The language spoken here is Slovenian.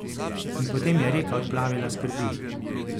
In potem je reka odplavila skrbi.